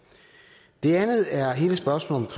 det er andet er hele spørgsmålet